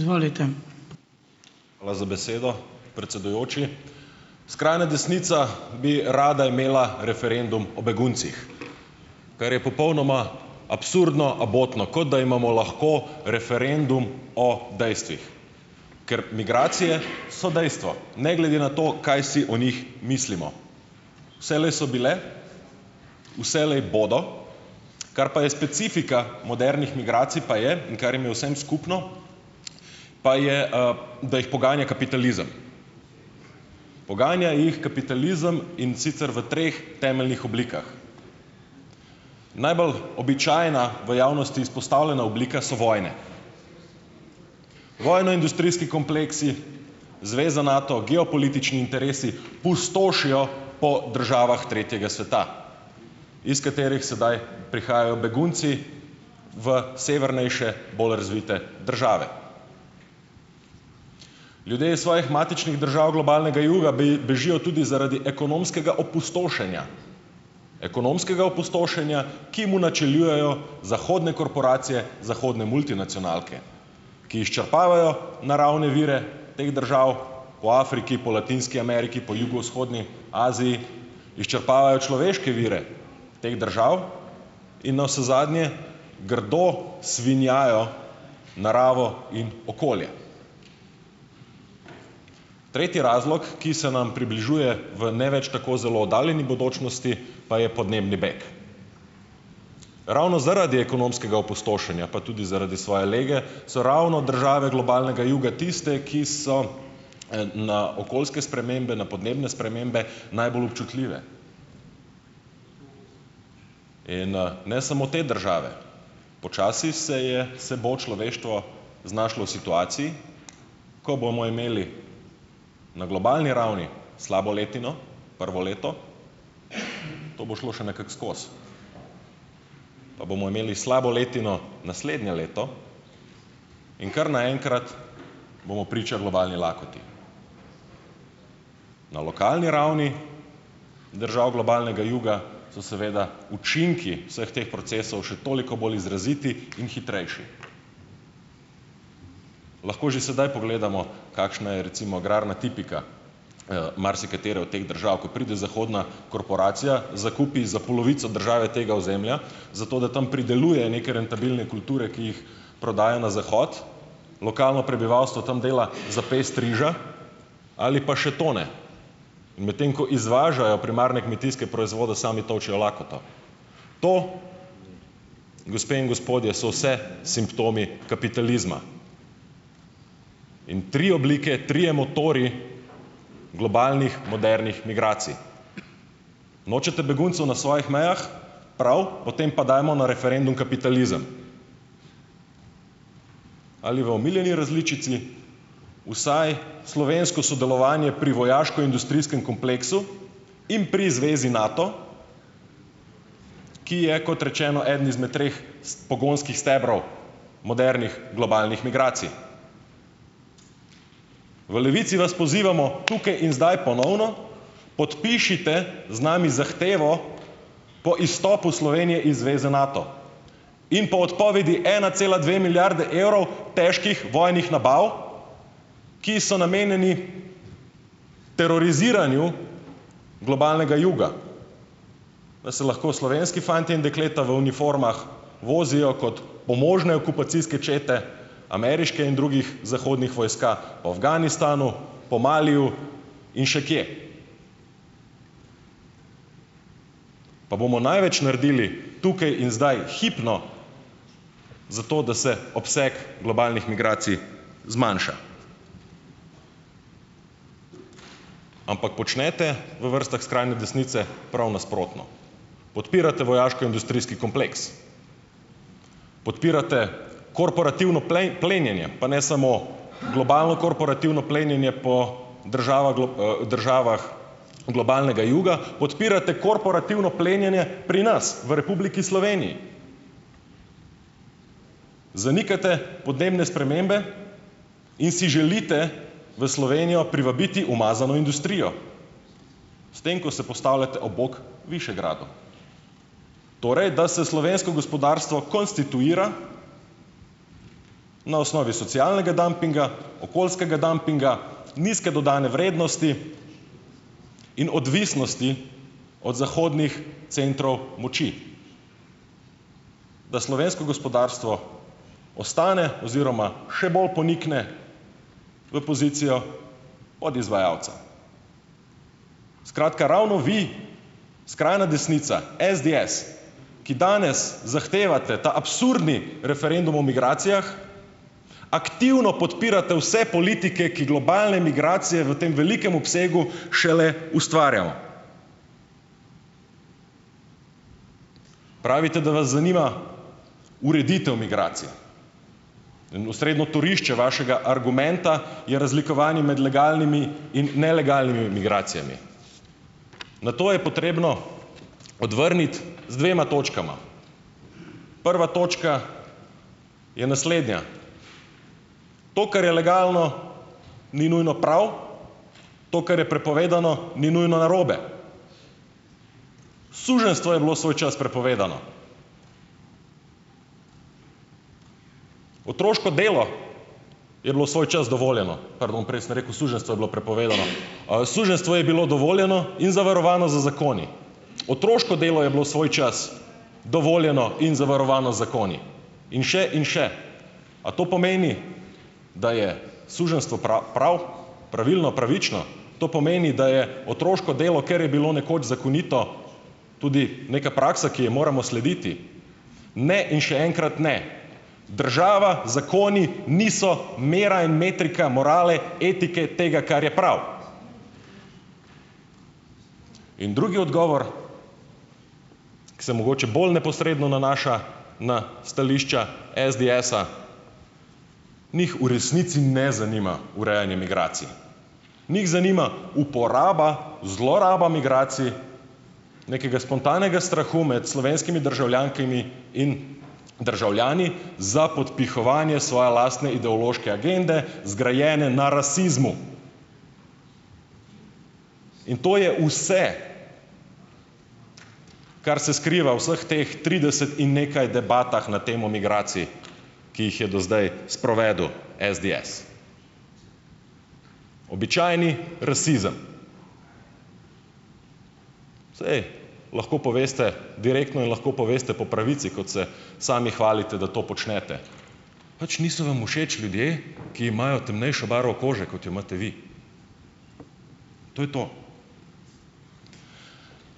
Hvala za besedo, predsedujoči. Skrajna desnica bi rada imela referendum o beguncih, kar je popolnoma absurdno, abotno, kot da imamo lahko referendum o dejstvih. Ker migracije so dejstvo, ne glede na to, kaj si o njih mislimo. Vselej so bile, vselej bodo. Kar pa je specifika modernih migracij, pa je, in kar jim je vsem skupno pa je, da jih poganja kapitalizem. Poganja jih kapitalizem, in sicer v treh temeljnih oblikah. Najbolj običajna, v javnosti izpostavljena oblika so vojne. Vojnoindustrijski kompleksi, zveza Nato, geopolitični interesi pustošijo po državah tretjega sveta, iz katerih sedaj prihajajo begunci v severnejše, bolj razvite države. Ljudje iz svojih matičnih držav globalnega juga bežijo tudi zaradi ekonomskega opustošenja, ekonomskega opustošenja, ki mu načelujejo zahodne korporacije, zahodne multinacionalke, ki izčrpavajo naravne vire teh držav po Afriki, po Latinski Ameriki, po Jugovzhodni Aziji, izčrpavajo človeške vire teh držav in navsezadnje grdo svinjajo naravo in okolje. Tretji razlog, ki se nam približuje v ne več tako zelo oddaljeni bodočnosti, pa je podnebni beg. Ravno zaradi ekonomskega opustošenja, pa tudi zaradi svoje lege, so ravno države globalnega juga tiste, ki so, na okoljske spremembe, na podnebne spremembe najbolj občutljive. In, ne samo te države, počasi se je se bo človeštvo znašlo v situaciji, ko bomo imeli na globalni ravni slabo letino, prvo leto, to bo šlo še nekako skozi, pa bomo imeli slabo letino naslednje leto in kar naenkrat bomo priča globalni lakoti. Na lokalni ravni držav globalnega juga so seveda učinki vseh teh procesov še toliko bolj izraziti in hitrejši. Lahko že sedaj pogledamo, kakšna je, recimo, agrarna tipika, marsikatere ot teh držav. Ko pride zahodna korporacija, zakupi za polovico države tega ozemlja, zato da tam prideluje neke rentabilne kulture, ki jih prodaja na zahod. Lokalno prebivalstvo tam dela za pest riža ali pa še to ne. In medtem ko izvažajo primarne kmetijske proizvode, sami tolčejo lakoto. To, gospe in gospodje, so vse simptomi kapitalizma. In tri oblike, trije motorji globalnih, modernih migracij. Nočete beguncev na svojih mejah, prav, potem pa dajmo na referendum kapitalizem ali v omiljeni različici. Vsaj slovensko sodelovanje pri vojaškoindustrijskem kompleksu in pri zvezi Nato, ki je, kot rečeno, eden izmed treh pogonskih stebrov modernih globalnih migracij. V Levici vas pozivamo tukaj in zdaj ponovno, podpišite z nami zahtevo po izstopu Slovenije iz zveze Nato in po odpovedi ena cela dve milijarde evrov težkih vojnih nabav, ki so namenjeni teroriziranju globalnega juga, da se lahko slovenski fantje in dekleta v uniformah vozijo kot pomožne okupacijske čete ameriške in drugih zahodnih vojska, po Afganistanu, po Maliju in še kje. Pa bomo največ naredili tukaj in zdaj, hipno zato, da se obseg globalnih migracij zmanjša. Ampak počnete v vrstah skrajne desnice prav nasprotno. Podpirate vojaškoindustrijski kompleks, podpirate korporativno plenjenje, pa ne samo globalno korporativno plenjenje po državah državah globalnega juga, podpirate korporativno plenjenje pri nas, v Republiki Sloveniji. Zanikate podnebne spremembe in si želite v Slovenijo privabiti umazano industrijo s tem, ko se postavljate ob bok Višegradu. Torej, da se slovensko gospodarstvo konstituira na osnovi socialnega dampinga, okoljskega dampinga, nizke dodane vrednosti in odvisnosti od zahodnih centrov moči. Da slovensko gospodarstvo ostane oziroma še bolj ponikne v pozicijo podizvajalca. Skratka, ravno vi, skrajna desnica, SDS, ki danes zahtevate ta absurdni referendum o migracijah, aktivno podpirate vse politike, ki globalne migracije v tem velikem obsegu šele ustvarjamo. Pravite, da vas zanima ureditev migracij in osrednjo torišče vašega argumenta je razlikovanje med legalnimi in nelegalnimi migracijami. Na to je potrebno odvrniti z dvema točkama. Prva točka je naslednja. To, kar je legalno, ni nujno prav, to, kar je prepovedano, ni nujno narobe. Suženjstvo je bilo svoj čas prepovedano. Otroško delo je bilo svoj čas dovoljeno. Pardon, prej sem rekel suženjstvo je bilo prepovedano, suženjstvo je bilo dovoljeno in zavarovano z zakoni, otroško delo je bilo svoj čas dovoljeno in zavarovano z zakoni in še in še. A to pomeni, da je suženjstvo prav pravilno, pravično? To pomeni, da je otroško delo, ker je bilo nekoč zakonito, tudi neka praksa, ki ji moramo slediti. Ne in še enkrat ne. Država, zakoni niso mera in metrika morale, etike tega, kar je prav. In drugi odgovor, ki se mogoče bolj neposredno nanaša na stališča SDS-a, njih v resnici ne zanima urejanje migracij. Njih zanima uporaba, zloraba migracij, nekega spontanega strahu med slovenskimi državljankami in državljani za podpihovanje svoje lastne ideološke agende, zgrajene na rasizmu, in to je vse, kar se skriva v vseh teh trideset in nekaj debatah na temo migracij, ki jih je do zdaj sprovedel SDS. Običajni rasizem. Saj, lahko poveste direktno in lahko poveste po pravici, kot se sami hvalite, da to počnete. Pač niso vam všeč ljudje, ki imajo temnejšo barvo kože, kot jo imate vi. To je to.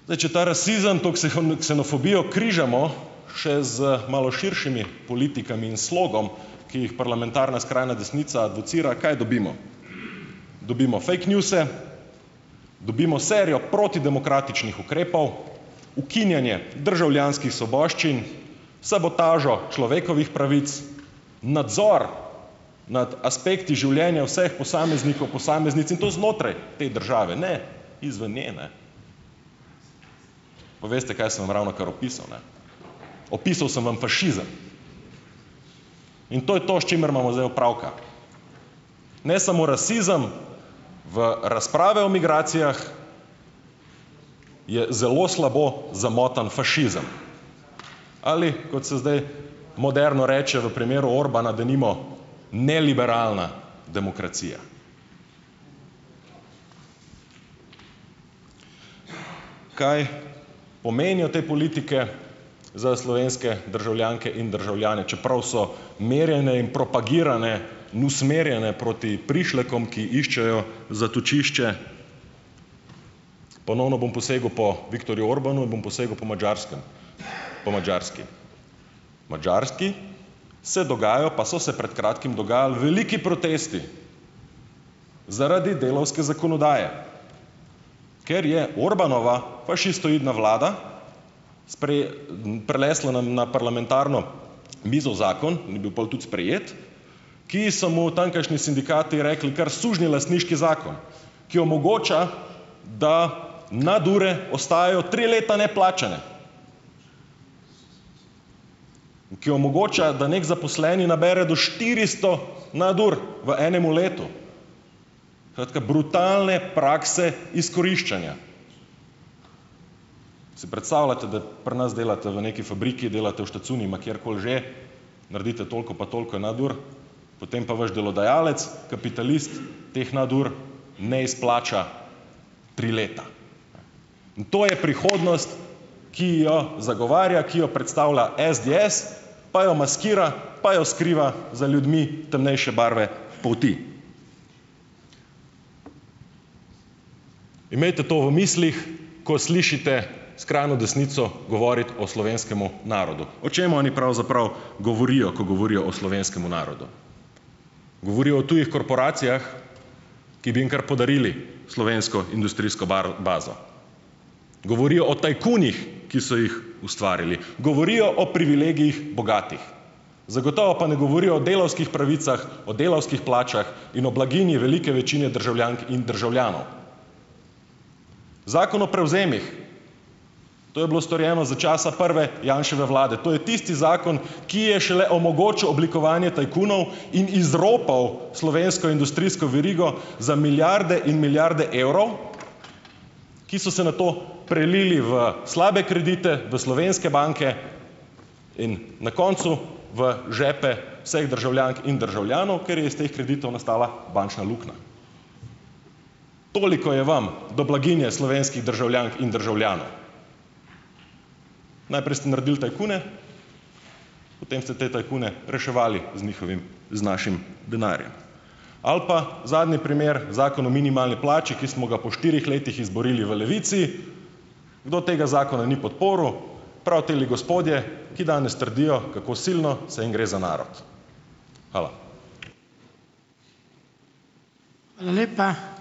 Zdaj, če ta rasizem, to ksenofobijo križamo še z malo širšimi politikami in slogom, ki jih parlamentarna skrajna desnica educira, kaj dobimo. Dobimo fake newse, dobimo serijo protidemokratičnih ukrepov, ukinjanje državljanskih svoboščin, sabotažo človekovih pravic, nadzor nad aspekti življenja vseh posameznikov, posameznic in to znotraj te države, ne izven, ne, ne. Pa veste, kaj sem vam ravnokar opisal, ne? Opisal sem vam fašizem. In to je to, s čimer imamo zdaj opravka. Ne samo rasizem, v razpravi o migracijah, je zelo slabo zamotan fašizem, ali kot se zdaj moderno reče v primeru Orbána, denimo, neliberalna demokracija. Kaj pomenijo te politike za slovenske državljanke in državljane, čeprav so merjene in propagirane in usmerjene proti prišlekom, ki iščejo zatočišče. Ponovno bom posegel po Viktorju Orbánu, bom posegel po Madžarskem, po Madžarski. V Madžarski se dogajajo, pa so se pred kratkim dogajali veliki protesti zaradi delavske zakonodaje, ker je Orbánova fašistoidna vlada prinesla na, na parlamentarno mizo zakon in je bil pol tudi sprejet, ki so mu tamkajšnji sindikati rekli kar sužnjelastniški zakon, ki omogoča, da nadure ostajajo tri leta neplačane, in ki omogočajo, da neki zaposleni nabere do štiristo nadur v enemu letu. Skratka, brutalne prakse izkoriščanja. Si predstavljate, da pri nas delate v neki fabriki, delate v štacuni, ma kjerkoli že, naredite toliko pa toliko nadur, potem pa vaš delodajalec, kapitalist, teh nadur ne izplača tri leta? Ne. In to je prihodnost, ki jo zagovarja, ki jo predstavlja SDS, pa jo maskira, pa jo skriva za ljudmi temnejše barve polti. Imejte to v mislih, ko slišite skrajno desnico govoriti o slovenskem narodu. O čem oni pravzaprav govorijo, ko govorijo o slovenskem narodu? Govorijo o tujih korporacijah, ki bi jim kar podarili slovensko industrijsko baro bazo. Govorijo o tajkunih, ki so jih ustvarili. Govorijo o privilegijih bogatih. Zagotovo pa ne govorijo o delavskih pravicah, o delavskih plačah in o blaginji velike večine državljank in državljanov. Zakon o prevzemih, to je bilo storjeno za časa prve Janševe vlade. To je tisti zakon, ki je šele omogočil oblikovanje tajkunov in izropal slovensko industrijsko verigo za milijarde in milijarde evrov, ki so se nato prelili v slabe kredite, v slovenske banke in na koncu v žepe vseh državljank in državljanov, ker je iz teh kreditov nastala bančna luknja. Toliko je vam do blaginje slovenskih državljank in državljanov. Najprej ste naredili tajkune, potem ste te tajkune reševali z njihovim, z našim denarjem. Ali pa zadnji primer, zakon o minimalni plači, ki smo ga po štirih letih izborili v Levici. Kdo tega zakona ni podprl? Prav teli gospodje, ki danes trdijo, kako silno se jim gre za narod. Hvala.